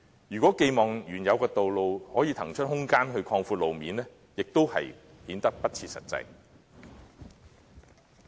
如果寄望原有的道路可以騰出空間來擴闊路面，亦顯得不切實際。